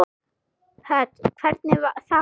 Hödd: Hvernig þá?